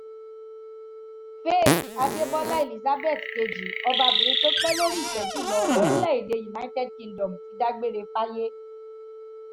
faith adébólà elizabeth kejì ọbabìnrin tó pẹ́ lórí ìtẹ́ jù lọ lórílẹ̀‐èdè united kingdom ti dágbére fáyé